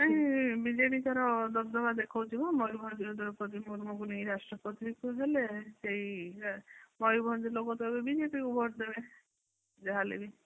and BJD ତାର ଦବଦବା ଦେଖଉଛି ନା ମୟୂରଭଞ୍ଜର ଦ୍ରୌପଦୀ ମୁର୍ମୁ ରାଷ୍ଟ୍ରପତି ହେଲେ ସେଇ ମୟୂରଭଞ୍ଜ ଲୋକ ତ ଏବେ ବିଜେପିକୁ ଭୋଟ ଦେବେ ଯାହା ହେଲେବି।